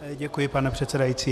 Děkuji, pane předsedající.